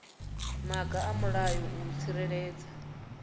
maga a mulayo u tsireledza